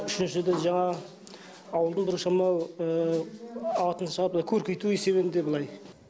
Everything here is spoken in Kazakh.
үшіншіден жаңағы ауылды біршамалы атын шығарып көркейту есебінде былай